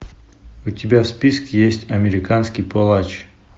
у тебя в списке есть американский палач